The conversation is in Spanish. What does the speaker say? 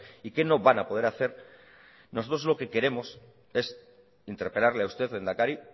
y qué no van a poder hacer nosotros lo que queremos es interpelarle a usted lehendakari